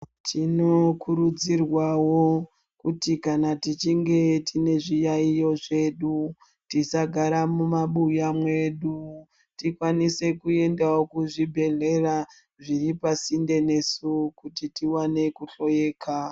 Tinokurudzirwawo kuti kana tichinge tine zviyayiyo zvedu tisagara mumabuya medu tikwanise kuendawo kuzvibhedhlera zviri pasinde nesu kuti tione kuhloyeka.